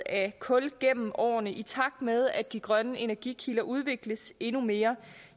af kul gennem årene i takt med at de grønne energikilder udvikles endnu mere